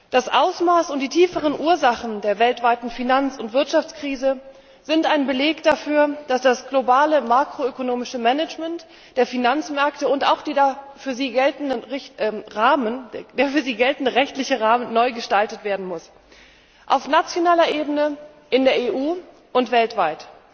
Das Ausmaß und die tieferen Ursachen der weltweiten Finanz und Wirtschaftskrise sind ein Beleg dafür, dass das globale makroökonomische Management der Finanzmärkte und auch der für sie geltende rechtliche Rahmen neu gestaltet werden müssen auf nationaler Ebene, in der EU und weltweit.